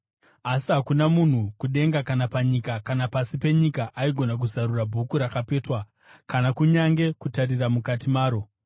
Asi hakuna munhu kudenga kana panyika kana pasi penyika aigona kuzarura bhuku rakapetwa kana kunyange kutarira mukati maro.